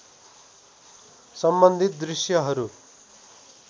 सम्बन्धित दृश्यहरू